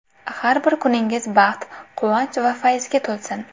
Har bir kuningiz baxt, quvonch va fayzga to‘lsin.